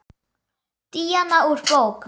Díana úr bók.